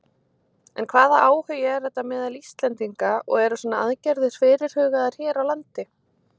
En hvaða áhugi er þetta meðal Íslendinga og eru svona aðgerðir fyrirhugaðar hér á landi?